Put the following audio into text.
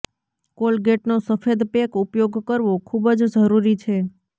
કોલગેટનો સફેદ પેક ઉપયોગ કરવો ખૂબ જ જરૂરી છે